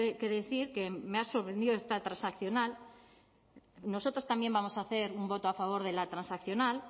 que decir que me ha sorprendido esta transaccional nosotras también vamos a hacer un voto a favor de la transaccional